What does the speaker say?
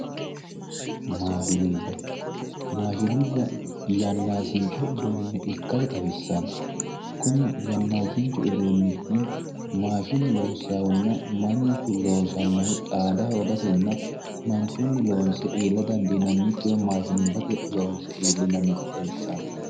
Mashinubba, mashinubba yannasicho uduunicho ikkase xawisano kunni yannasichu uduunichi mashine loosahunna mannuchu loosanohu xaada hoogatenna manchu anganni loonse iilla dandiinannikkiha mashinubbatenni loonse iillanannitta xawisano.